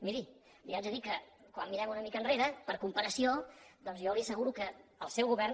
miri li haig de dir que quan mirem una mica enrere per comparació doncs jo li asseguro que el seu govern